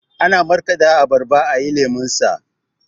Ana markaɗa abarba ayi lemonsa